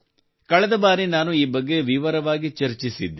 ಕಳೆದ ಬಾರಿ ನಾನು ಈ ಬಗ್ಗೆ ವಿವರವಾಗಿ ಚರ್ಚಿಸಿದ್ದೆ